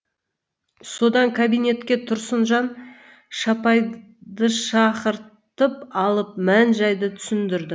содан кабинетке тұрсынжан шапайдышақыртып алып мән жайды түсіндірді